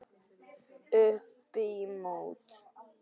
Upp í mót.